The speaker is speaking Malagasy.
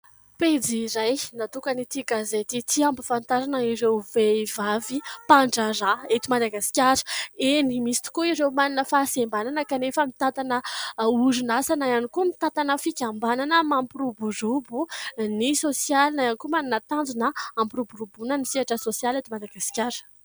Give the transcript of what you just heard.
Pejy iray natokan'ity gazety ity ampafantarana ireo vehivavy mpandraharaha eto Madagasikara. Eny misy tokoa ireo manana fahasembanana kanefa mitantana orinasa na ihany koa mitantana fikambanana mampiroborobo ny sosialy na ihany koa manana tanjona hampiroboroboana ny sehatra sosialy eto Madagasikara.